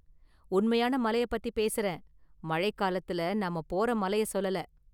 உண்மையான மலைய பத்தி பேசுறேன், மழை காலத்துல நாம போற மலைய சொல்லல.